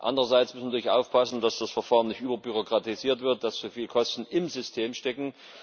Andererseits muss man natürlich aufpassen, dass das Verfahren nicht überbürokratisiert wird, dass zu viele Kosten im System stecken.